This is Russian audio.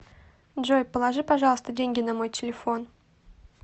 джой положи пожалуйста деньги на мой телефон